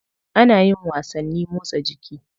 Ana yin wasanni motsa jiki.